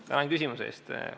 Tänan küsimuse eest!